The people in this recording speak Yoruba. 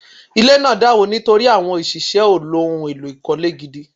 Ile naa dàwó nítorí àwọn òṣìṣẹ́ ò lò ohun èlò ìkọ́lé gidi